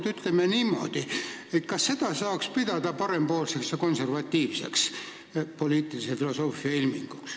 Ma küsin niimoodi, kas seda saaks pidada parempoolseks ja konservatiivseks poliitilise filosoofia ilminguks.